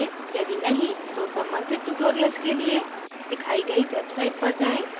यदि नहीं तो कृपया संबंधित tutorials के लिए दिखाई गई website पर जाएँ